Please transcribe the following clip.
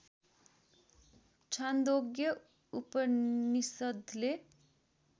Chandogya उपनिषद्ले